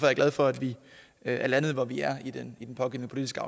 jeg glad for at vi er landet hvor vi er i den pågældende politiske